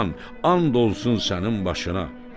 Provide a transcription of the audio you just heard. Xan, and olsun sənin başına.